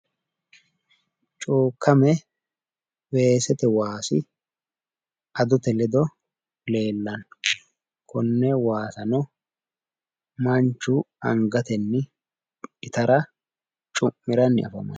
Cuukame weesete waasi adote ledo leellanno. konne waasano manchu itara angatenni cu'miranni afamanno.